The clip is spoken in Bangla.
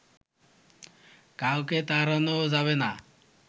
কাউকে তাড়ানো যাবে না